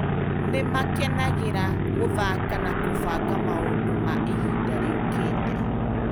Nĩ maakenagĩra gũthaka na kũbanga maũndũ ma ihinda rĩũkĩte.